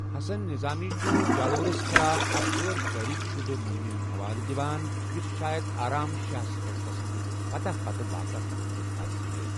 حسن نظامی چھٗ جالورس خلاف اکھ غٲر تٲریخ شدہ مُہمہِ ہٖند حوالہٕ دِوان ، یوٚسہٕ شاید آرام شاہس پیٹھ تمِسندِ فتح پتہٕ واقع سپزمٕژ آسِہے ۔